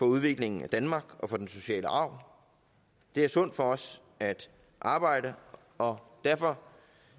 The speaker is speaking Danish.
udviklingen af danmark og til den sociale arv det er sundt for os at arbejde og derfor